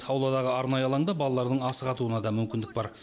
ауладағы арнайы алаңда балалардың асық атуына да мүмкіндік бар